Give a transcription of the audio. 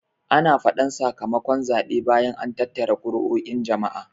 Ana faɗan saka makon zaɓe bayan an tattara kuruo'in jama'a